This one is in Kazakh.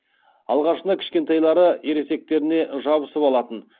алғашында кішкентайлары ересектеріне жабысып алатын